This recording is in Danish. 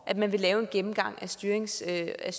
at man vil lave en gennemgang af styringsredskaberne